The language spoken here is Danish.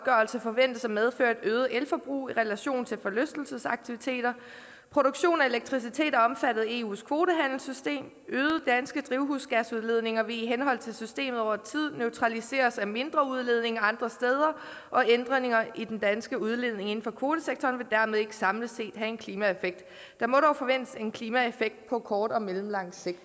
forventes at medføre et øget elforbrug i relation til forlystelsesaktiviteter produktion af elektricitet er omfattet af eus kvotehandelsystem øgede danske drivhusgasudledninger vil i henhold til systemet over tid neutraliseres af mindre udledninger andre steder og ændringer i den danske udledning inden for kvotesektoren vil dermed ikke samlet set have en klimaeffekt der må dog forventes en klimaeffekt på kort og mellemlang sigt